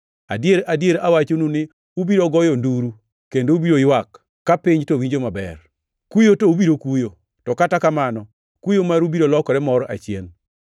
Adier, adier awachonu, ni ubiro goyo nduru kendo ubiro ywak ka piny to winjo maber. Kuyo to ubiro kuyo, to kata kamano kuyo maru biro lokore mor achien.